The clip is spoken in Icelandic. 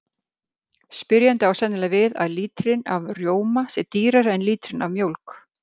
Spyrjandi á sennilega við að lítrinn af rjóma sé dýrari en lítrinn af mjólk.